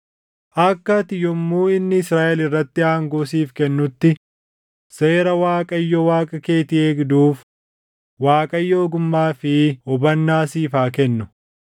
Akka ati yommuu inni Israaʼel irratti aangoo siif kennutti seera Waaqayyo Waaqa keetii eegduuf Waaqayyo ogummaa fi hubannaa siif haa kennu.